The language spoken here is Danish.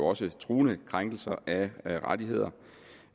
også truende krænkelser af rettigheder